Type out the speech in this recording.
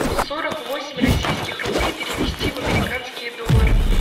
сорок восемь российских рублей перевести в американские доллары